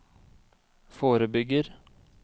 forebygger